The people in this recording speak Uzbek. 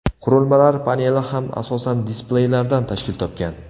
Qurilmalar paneli ham asosan displeylardan tashkil topgan.